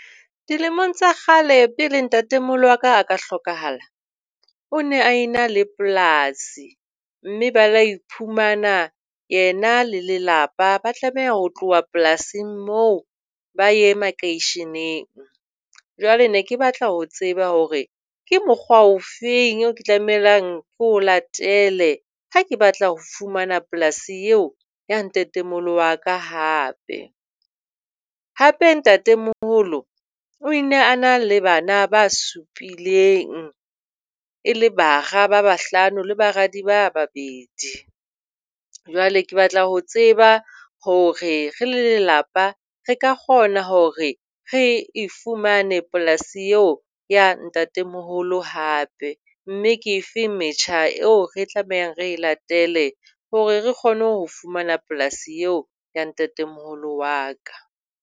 Dilemong tsa kgale pele ntatemoholo wa ka a ka hlokahala, o ne a ena le polasi mme ba ile ba iphumana yena le lelapa ba tlameha ho tloha polasing moo ba ya makeisheneng. Jwale ne ke batla ho tseba hore ke mokgwa o feng oo ke tlamehang ko latele ha ke batla ho fumana polasi eo ya ntatemoholo wa ka hape. Hape ntatemoholo o ne a na le bana ba supileng e le bara ba bahlano, le baradi ba babedi. Jwale ke batla ho tseba hore re le lelapa re ka kgona hore re e fumane polasi eo ya ntatemoholo hape. Mme ke efe metjha eo re tlamehang hore re latele hore re kgone ho fumana polasi eo ya ntatemoholo wa ka hape.